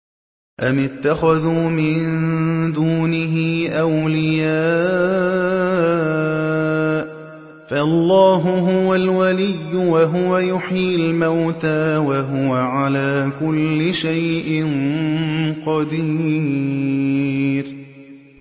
أَمِ اتَّخَذُوا مِن دُونِهِ أَوْلِيَاءَ ۖ فَاللَّهُ هُوَ الْوَلِيُّ وَهُوَ يُحْيِي الْمَوْتَىٰ وَهُوَ عَلَىٰ كُلِّ شَيْءٍ قَدِيرٌ